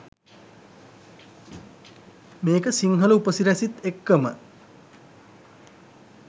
මේක සිංහල උපසිරැසිත් එක්කම